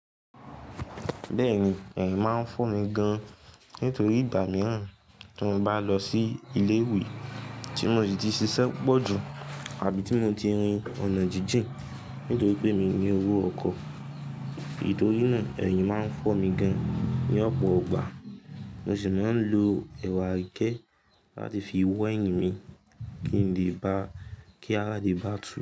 Bẹ́ẹ̀ni, ẹ̀yìn máa ń fọ́ mi gan nítorí ìgbà mìíràn tí mo bá lọ sí ilé ìwé tí mo ti ṣiṣẹ́ pọ̀jù àbí tí mo ti rin ọ̀nà jíjìn nítorí pé mi ní owó ọkọ̀. Ì torí náà ẹ̀yìn máa ń fọ́ mi gan ní ọ̀pọ̀ ìgbà mọ̀sì máa ń lo ẹwà àìkẹ́ láti fi wọ ẹ̀yìn mi kí n lè bá, kí a lè bá tù.